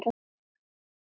Þeir voru Bjarni